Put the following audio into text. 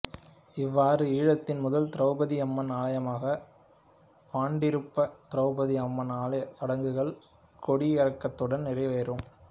இவ்வாறு ஈழத்தின் முதல் திரெளபதி அம்மன் ஆலயமாக பாண்டிருப்ப திரெளபதி அம்மன் ஆலயச் சடங்குகள் கொடி இறக்கத்துடன் நிறைவேறும்